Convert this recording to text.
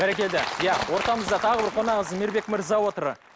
бәрекелді иә ортамызда тағы бір қонағымыз мейірбек мырза отыр